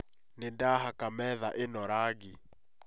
Nĩ ndahaka metha ĩno rangi